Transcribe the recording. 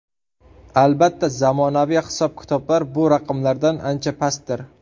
Albatta, zamonaviy hisob-kitoblar bu raqamlardan ancha pastdir.